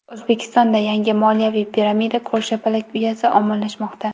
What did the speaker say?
O‘zbekistonda yangi moliyaviy piramida ko‘rshapalak uyasi ommalashmoqda .